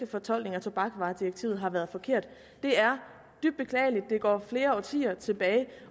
fortolkning af tobaksvaredirektivet har været forkert det er dybt beklageligt det går flere årtier tilbage